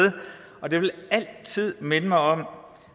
og det vil altid minde mig om